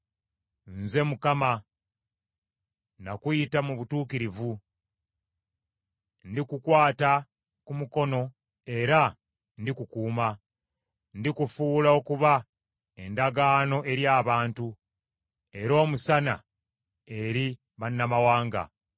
“Nze Mukama , nakuyita mu butuukirivu. Ndikukwata ku mukono era ndikukuuma. Ndikufuula okuba endagaano eri abantu, era omusana eri bannamawanga.